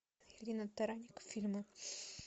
ирина таранник фильмы